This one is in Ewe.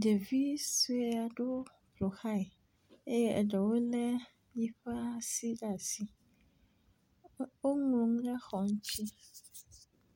Ɖevi sue aɖewo ƒoxlae eye eɖewo le yiƒe asi ɖe asi. Woŋlɔ nu ɖe xɔ ŋtsi.